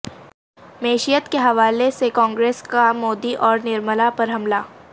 معیشت کے حوالہ سے کانگریس کا مودی اور نرملا پر حملہ